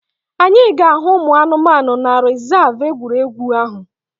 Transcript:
Anyị ga-ahụ ụmụ anụmanụ na rezav egwuregwu ahụ